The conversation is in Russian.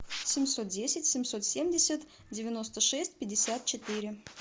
семьсот десять семьсот семьдесят девяносто шесть пятьдесят четыре